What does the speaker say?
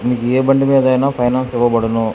ఏ బండి మీద అయినా ఫైనాన్స్ ఇవ్వబడును.